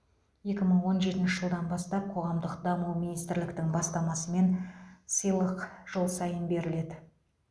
екі мың он жетінші жылдан бастап қоғамдық даму министрліктің бастамасымен сыйлық жыл сайын беріледі